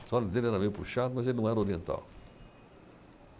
Os olhos dele era meio puxado, mas ele não era oriental.